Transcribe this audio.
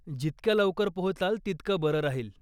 जितक्या लवकर पोहोचाल तितकं बरं राहील.